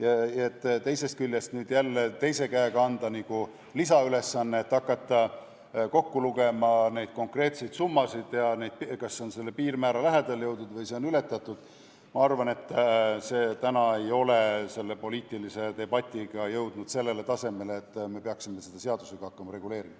Ja nüüd teise käega anda järelevalveorganitele lisaülesanne hakata kokku lugema konkreetseid summasid, et selgitada välja, kas on jõutud piirmäära lähedale või kas see on ületatud – ma arvan, et täna ei ole poliitiline debatt jõudnud veel sellele tasemele, et peaksime seda teemat hakkama seadusega reguleerima.